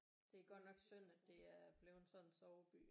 Det er godt nok synd at det er blevet sådan en soveby